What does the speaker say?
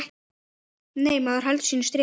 Nei, maður heldur sínu striki.